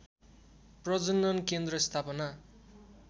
प्रजनन केन्द्र स्थापना